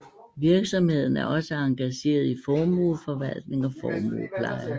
Virksomheden er også engageret i formueforvaltning og formuepleje